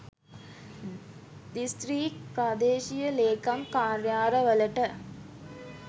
district ප්‍රාදේශීය ලේකම් කාර්යාල වලට